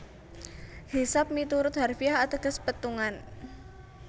Hisab miturut harfiah ateges pétungan